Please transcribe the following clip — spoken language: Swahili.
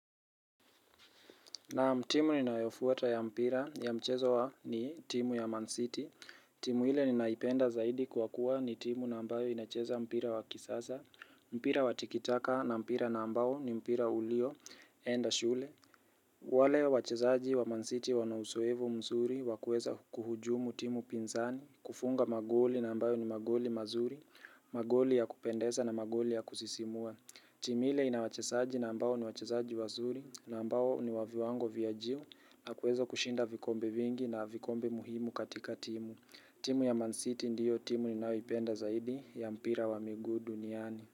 Na'am, timu ninayofuata ya mpira, ya mchezo wa, ni timu ya Man City. Timu ile ninaipenda zaidi kwa kuwa ni timu nambayo inacheza mpira wa kisasa, mpira wa tikitaka na mpira na ambao ni mpira ulioenda shule. Wale wachezaji wa Man City wana uzoevu mzuri wa kuweza kuhujumu timu pinzani, kufunga magoli na ambayo ni magoli mazuri, magoli ya kupendeza na magoli ya kusisimua. Timi ile ina wachezaji na ambao ni wachezaji wazuri na ambao ni wa viwango vya juu na kuweza kushinda vikombe vingi na vikombe muhimu katika timu. Timu ya Man City ndiyo timu ninayoipenda zaidi ya mpira wa miguu duniani.